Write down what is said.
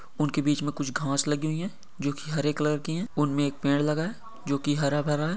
उनके बीच में कुछ घास लगी हुई है जो कि हरे कलर की है। उनमें एक पेड़ लगा है जो कि हरा भरा है।